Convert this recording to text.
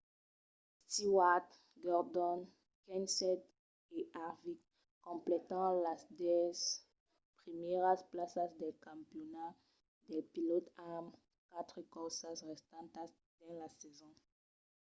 stewart gordon kenseth e harvick completan las dètz primièras plaças del campionat dels pilòts amb quatre corsas restantas dins la sason